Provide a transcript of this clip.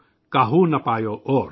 काहु न पायौ और।